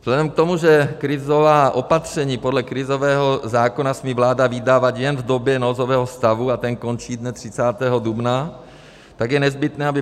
Vzhledem k tomu, že krizová opatření podle krizového zákona smí vláda vydávat jen v době nouzového stavu a ten končí dne 30. dubna, tak je nezbytné, aby